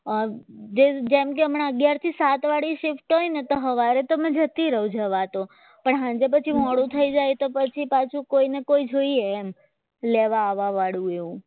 જેમ કે હમણાં અગ્યાર થી સાત વળી shift હોય ને તો સવારે હું જતી રહું જતા તો પણ સાંજે પછી મોડું થઈ જાય ને તો પછી કોઈને કોઈ જોઈએ એમ લેવા આવવા વાળું